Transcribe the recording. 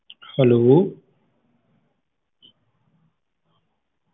hello